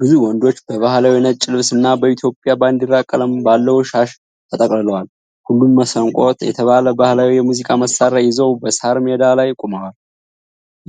ብዙ ወንዶች በባህላዊ ነጭ ልብስና በኢትዮጵያ ባንዲራ ቀለም ባለው ሻሽ ተጠቅልለዋል። ሁሉም መስንቆ የተባለ ባህላዊ የሙዚቃ መሣሪያ ይዘው በሣር ሜዳ ላይ ቆመዋል።